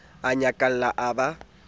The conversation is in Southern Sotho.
a nyakalla a ba a